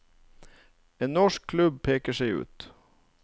En norsk klubb peker seg ut.